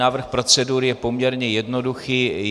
Návrh procedury je poměrně jednoduchý.